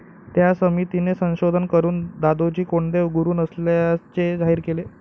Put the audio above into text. त्या समितीने संशोधन करून दादोजी कोंडदेव गुरु नसल्याचे जाहीर केले.